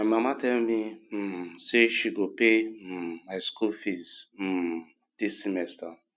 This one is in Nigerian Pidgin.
my mama tell me um say she go pay um my school fees um dis semester